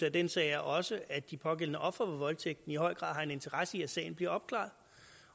af den sag også er at de pågældende ofre for voldtægt i høj grad har en interesse i at sagen bliver opklaret